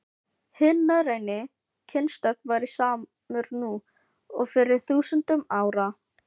Hinn norræni kynstofn væri samur nú og fyrir þúsundum ára.